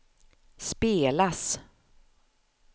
spelas